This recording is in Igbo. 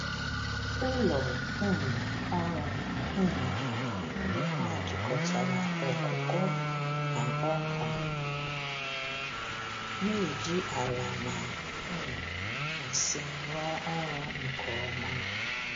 Ụlọ um ọrụ um ugbo ha jikọtara ọkụkọ na ọka, na-eji ala na um nsị rụọ ọrụ nke ọma.